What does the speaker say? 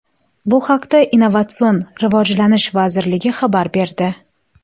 Bu haqda Innovatsion rivojlanish vazirligi xabar berdi .